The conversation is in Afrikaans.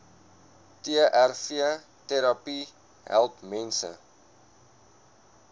trvterapie help mense